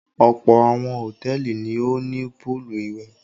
Ọ̀pọ̀ àwọn hòtẹ́ẹ́lì ni ó ní póólù ìwẹ̀.